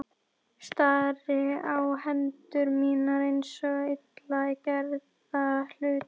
Stari á hendur mínar eins og illa gerða hluti.